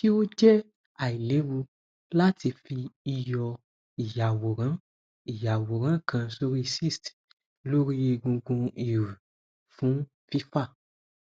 ṣe o jẹ ailewu lati fi iyọ iyaworan iyaworan kan sori cyst lori egungun iru fun fifa